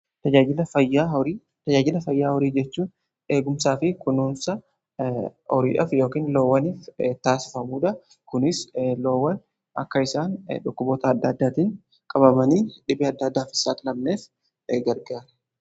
tajaajila fayyaa horii jechuu eegumsaa fi kunuunsa horiif yookiin loowwaniif taasifamuudha. Kunis loowwan akka isaan dhukkuboota adda addaatiin qabamanii dhibee adda addaafis akka saaxilamneef gargaara.